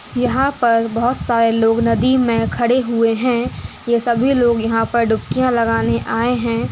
यहाँ पर बहुत सारे लोग नदी मे खड़े हुए है ये सभी लोग यंहा पर डुबकिया लगाने आए है।